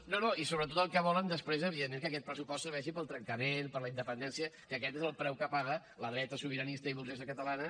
no no i sobretot el que volen després és evidentment que aquest pressupost serveixi per al trencament per a la independència que aquest és el preu que paga la dreta sobiranista i burgesa catalana